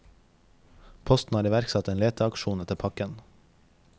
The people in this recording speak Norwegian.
Posten har iverksatt en leteaksjon etter pakken.